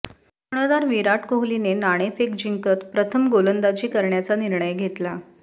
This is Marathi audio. कर्णधार विराट कोहलीने नाणेफेक जिंकत प्रथम गोलंदाजी कऱण्याचा निर्णय घेतला